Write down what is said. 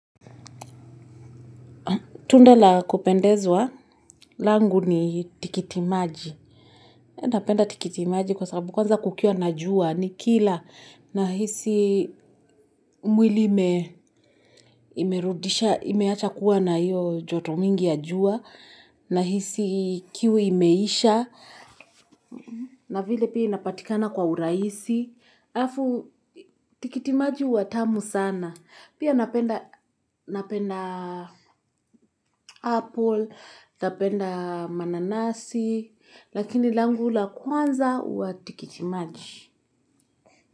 Tunda la kupendezwa langu ni tikitimaji. Napenda tikitimaji kwa sababu kwanza kukiwa na jua nikila nahisi mwili ime imerudisha, imeacha kuwa na hio joto mingi ya jua nahisi kiu imeisha. Na vile pia inapatikana kwa uraisi. Afu tikitimaji hua tamu sana. Pia napenda napenda apple, napenda mananasi, lakini langu la kwanza hua tikitimaji.